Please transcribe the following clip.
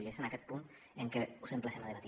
i és en aquest punt en què us emplacem a debatre